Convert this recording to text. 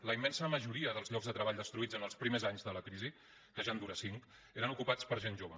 la immensa majoria dels llocs de treball destruïts en els primers anys de la crisi que ja en dura cinc eren ocupats per gent jove